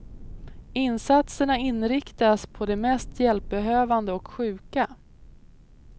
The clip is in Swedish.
Insatserna inriktas på de mest hjälpbehövande och sjuka.